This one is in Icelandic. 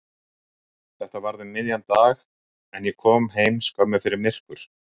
Þetta varð um miðjan dag en ég kom heim skömmu fyrir myrkur.